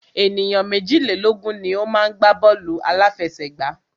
Ènìyàn méjìlélógun ni o má ń gbá bọ́ọ̀lù àláfẹsẹ̀gbá.